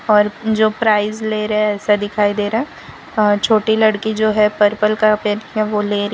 और जो प्राइस ले रहे है ऐसा दिखाई दे रहा है छोटी लड़की जो है पर्पल कपड़े पहन के वो ले रही है।